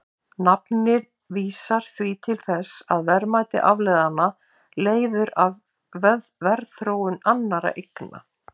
Nafnið vísar því til þess að verðmæti afleiðanna leiðir af verðþróun annarra eigna.